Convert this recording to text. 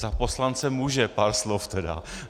Za poslance může, pár slov teda.